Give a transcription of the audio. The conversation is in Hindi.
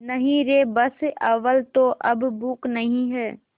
नहीं रे बस अव्वल तो अब भूख नहीं